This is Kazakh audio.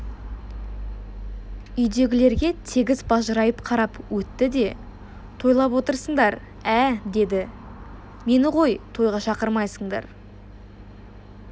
үйдегілерге тегіс бажырайып қарап өтті де тойлап отырсыңдар ә деді мені ғой тойға шақырмайсыңдар